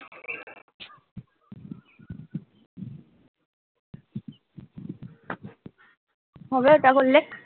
হবে তা বললেক?